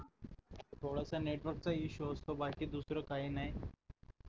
थोडस नेटवर्क चा इशू असतो बाकी दुसरं काही नाही